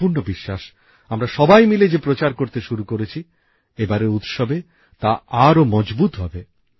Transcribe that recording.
আমার সম্পূর্ণ বিশ্বাস আমরা সবাই মিলে যে প্রচার করতে শুরু করেছি এবারের উৎসবে তা আরো মজবুত হবে